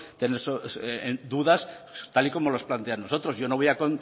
tener dudas tal y como los plantean los otros yo no voy